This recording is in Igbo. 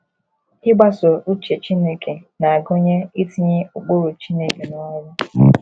Ịgbaso uche Chineke na - agụnye itinye ụkpụrụ Chineke n’ọrụ.